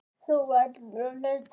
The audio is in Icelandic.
En hún hélt áfram.